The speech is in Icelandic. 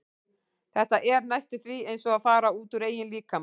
Þetta er næstum því eins og að fara út úr eigin líkama.